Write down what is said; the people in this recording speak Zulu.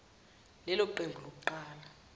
lelo qembu lokuqala